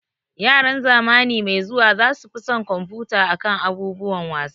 Yaran zamani mai zuwa za su fi son kumfuta akan abubuwan wasa